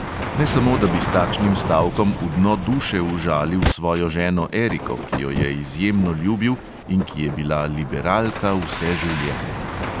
Ne samo da bi s takšnim stavkom v dno duše užalil svojo ženo eriko, ki jo je izjemno ljubil in ki je bila liberalka vse življenje.